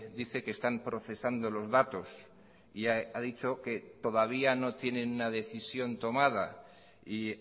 dice que están procesando los datos y ha dicho que todavía no tienen una decisión tomada y